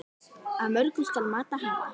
Af mörgu skal mat hafa.